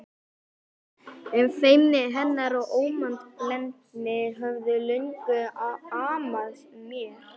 Feimni hennar og ómannblendni höfðu löngum amað mér.